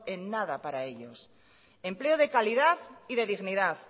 en nada para ellos empleo de calidad y de dignidad